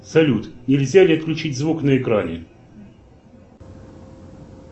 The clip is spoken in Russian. салют нельзя ли отключить звук на экране